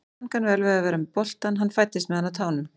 Hann kann vel við að vera með boltann, hann fæddist með hann á tánum.